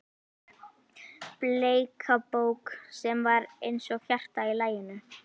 Bleika bók sem var eins og hjarta í laginu?